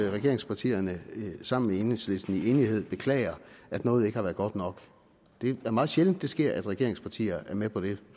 at regeringspartierne sammen med enhedslisten i enighed beklager at noget ikke har været godt nok det er meget sjældent det sker at regeringspartier er med på det